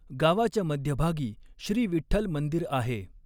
गावाच्या मध्यभागी श्री विठठ्ल मंदिर आहे.